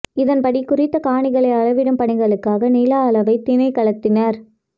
இதன் படி குறித்த காணிகளை அளவிடும் பணிகளுக்காக நில அளவை திணைக்களத்தினர்